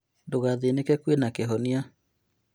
Ndũgathĩnĩke kwĩna kĩhonia